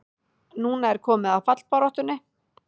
Núna er komið að fallbaráttunni!